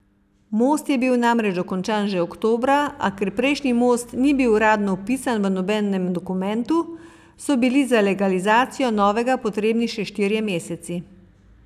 Most je bil namreč dokončan že oktobra, a ker prejšnji most ni bil uradno vpisan v nobenem dokumentu, so bili za legalizacijo novega potrebni še štirje meseci.